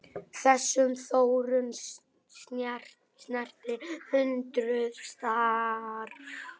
Þessi þróun snerti hundruð starfa.